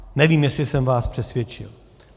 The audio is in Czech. Nevím, jestli jsem vás přesvědčil.